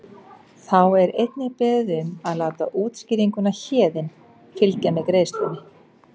Þá er einnig beðið um að láta útskýringuna Héðinn fylgja með greiðslunni.